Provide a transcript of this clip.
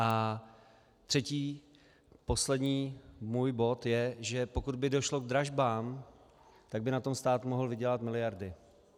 A třetí, poslední můj bod je, že pokud by došlo k dražbám, tak by na tom stát mohl vydělat miliardy.